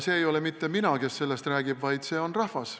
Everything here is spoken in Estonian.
See ei ole mitte mina, kes sellest räägib, vaid see on rahvas.